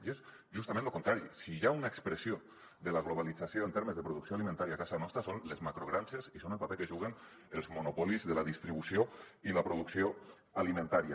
i és justament lo contrari si hi ha una expressió de la globalització en termes de producció alimentària a casa nostra són les macrogranges i són el paper que hi juguen els monopolis de la distribució i la producció alimentàries